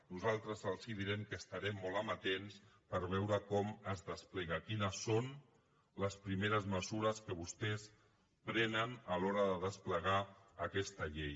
nosaltres els direm que estarem molt amatents per veure com es desplega quines són les primeres mesures que vostès prenen a l’hora de desplegar aquesta llei